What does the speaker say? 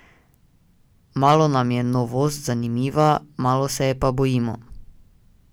Malo nam je novost zanimiva, malo se je pa bojimo.